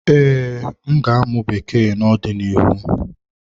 Ee, m ga-amụ Bekee n'ọdịnihu.